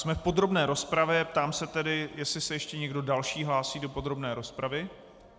Jsme v podrobné rozpravě, ptám se tedy, jestli se ještě někdo další hlásí do podrobné rozpravy.